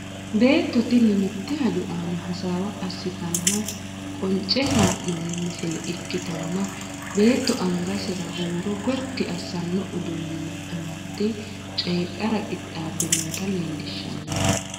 beetto tini mitte hajo aana hasaawa assitanna qonce haa'noonni misile ikkitanna, beetto angasera huuro gotti assanno uduunni amadde coyiidhara qixaabbe noota leelllishshanno.